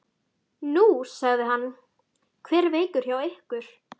Nú, sagði hann, hver er veikur hjá ykkur?